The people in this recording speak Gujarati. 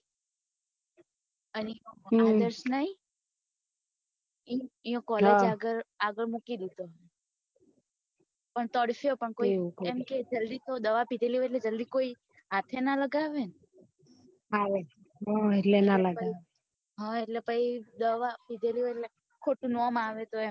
પણ તરસ્યો પણ એમ કે જલ્દી દવા પીધે લી હોય એટલે જલ્દી કોઈ હાથ એ ના લગાવે હ એટલે ના લગાવે પહી દવા પીધે લી હોય એટલે ખોટું નામ આવે તો એમ